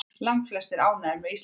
Langflestir ánægðir með Íslandsför